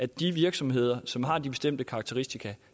de virksomheder som har de bestemte karakteristika